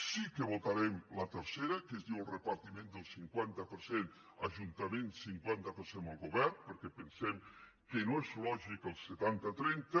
sí que votarem la tercera en què es diu el repartiment del cinquanta per cent ajuntaments cinquanta per cent el govern perquè pensem que no és lògic el setantatrenta